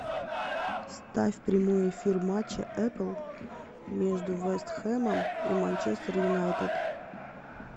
ставь прямой эфир матча апл между вест хэмом и манчестер юнайтед